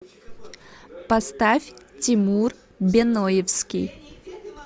поставь тимур беноевский